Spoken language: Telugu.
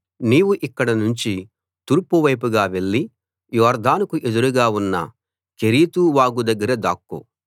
నీవు ఇక్కడ నుంచి తూర్పు వైపుగా వెళ్లి యొర్దానుకు ఎదురుగా ఉన్న కెరీతు వాగు దగ్గర దాక్కో